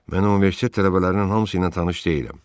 Mən universitet tələbələrinin hamısı ilə tanış deyiləm.